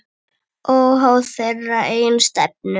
Óháð þeirra eigin stefnu.